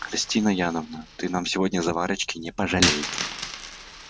христина яновна ты нам сегодня заварочки не пожалей